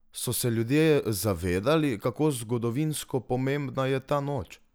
So se ljudje zavedali, kako zgodovinsko pomembna je ta noč?